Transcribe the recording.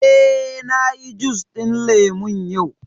Eh, na yi jus ɗin lemu yau